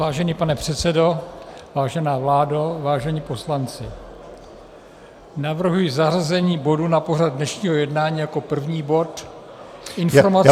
Vážený pane předsedo, vážená vládo, vážení poslanci, navrhuji zařazení bodu na pořad dnešního jednání jako první bod informace -